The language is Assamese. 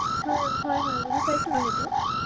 নহয় জানো, হয় হয় ৷জালুকবাৰীলৈ জানো